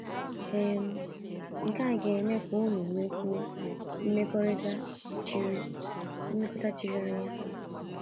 um Nke a ga-eme ka unu nwekwuo mmekọrịta chiri mmekọrịta chiri anya.